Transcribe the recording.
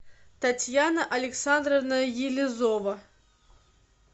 татьяна александровна елизова